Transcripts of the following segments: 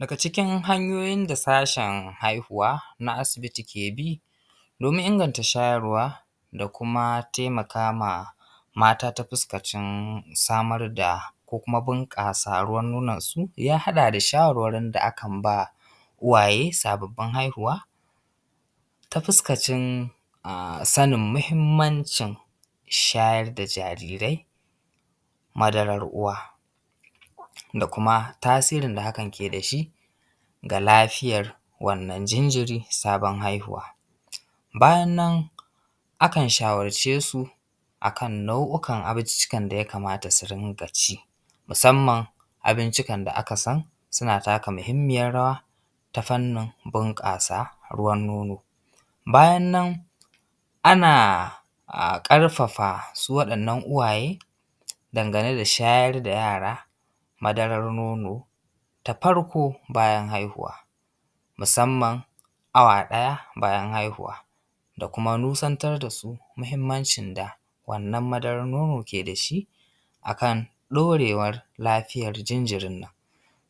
Daga cikin hanyoyin da sashen, haihuwa na asibiti ke bi, domin inganta shayarwa. Dakuma temakama mata, tafuskancin samarda, ko kuma bunƙasa ruwan nonansu. Ya haɗa da shawarin da akan ba uwaye sabobbin haihuwa. Ta fuskacin sanin muhimmancin, shayar da jarirai madarar uwa. Da kuma tasirin da hakan kedashi ga lafiyar wannan jinjiri, sabon haihuwa. bayan nan akan shawarcesu, akan nau’ukan abinciccikan da yakamata su rinƙa ci. Musamman abincikan da’akasan suna taka muhimmiyar rawa, ta fannin bunƙasa ruwan nono. Bayan nan ana ƙarfafa su waɗannan uwaye, dangane da shayar da yara, madarar nono. ta farko bayan haihuwa. Musamman awa ɗaya bayan haihuwa. Da kuma nusantar dasu muhimmancin da wannan madarar nono ke dashi, akan dorewar lafiyar jinjirinnan.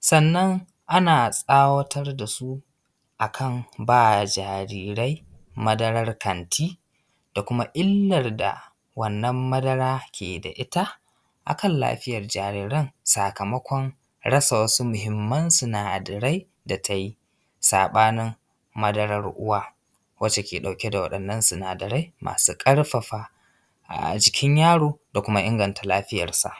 Sannan ana tsawatar dasu, akan ba jarirai, madarar kanti da kuma illarda wannan madara ke da ita akan lafiyar jariran. Sakamakon rasa wasu muhimman sinadarai da tayi, saɓanin madarar uwa. Wacce ke dauke da wadannan sinadarai, masu ƙarfafa ajikin yaro, domin inganta lafiyar sa.